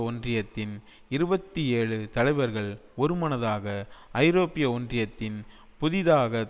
ஒன்றியத்தின் இருபத்தி ஏழு தலைவர்கள் ஒருமனதாக ஐரோப்பிய ஒன்றியத்தின் புதிதாக